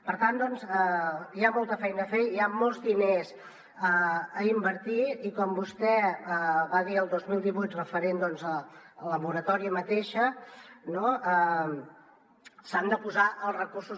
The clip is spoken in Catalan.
per tant hi ha molta feina a fer hi han molts diners a invertir i com vostè va dir el dos mil divuit referent a la moratòria mateixa s’hi han de posar els recursos